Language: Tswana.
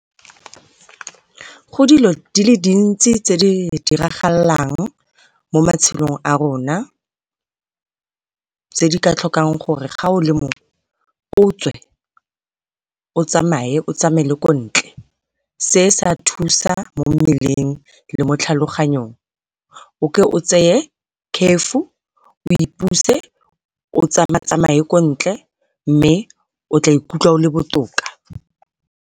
Go dilo di le dintsi tse di diragalang mo matshelong a rona tse di ka tlhokang gore ga o le motho o tswe o tsamaye o tsamaele ko ntle, se se a thusa mo mmeleng le mo tlhaloganyong o ke o tseye curfew o ipuse o tsama-tsamaye ko ntle mme o tla ikutlwa o le botoka.